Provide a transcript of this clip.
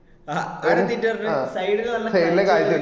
ആ ആടാനിന്നിട്ട് പറഞ്ഞു side ല് നല്ല കാഴ്ച ഇൻഡ്